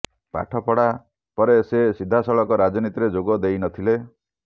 ପାଠପଢା ପରେ ସେ ସିଧାସଳଖ ରାଜନୀତିରେ ଯୋଗ ଦେଇ ନ ଥିଲେ